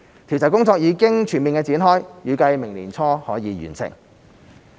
調查工作已經全面展開，預計明年年初完成。